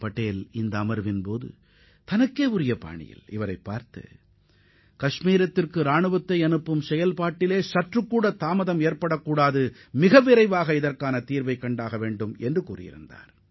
படைகளை அனுப்புவதில் எவ்வித தாமதமும் ஏற்படக்கூடாது என்றும் பிரச்சினைக்கு விரைவாக தீர்வு காண வேண்டும் என்றும் சர்தார் பட்டேல் தமக்கு தெளிவான அறிவுரை வழங்கியதையும் அவர் சுட்டிக்காட்டியுள்ளார்